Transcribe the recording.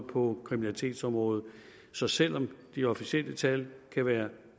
på kriminalitetsområdet så selv om de officielle tal kan være